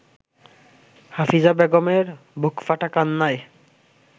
হাফিজা বেগমের বুকফাটা কান্নায়